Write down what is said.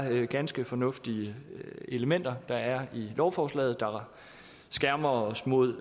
ganske fornuftige elementer der er i lovforslaget det skærmer os mod